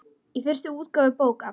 Í fyrstu útgáfu bókar